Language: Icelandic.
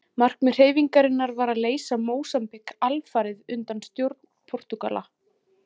Markmið hreyfingarinnar var að leysa Mósambík alfarið undan stjórn Portúgala.